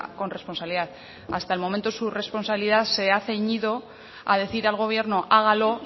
con responsabilidad hasta el momento su responsabilidad se ha ceñido a decir al gobierno hágalo